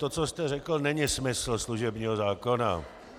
To, co jste řekl, není smysl služebního zákona.